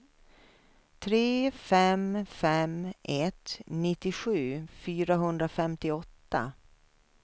tre fem fem ett nittiosju fyrahundrafemtioåtta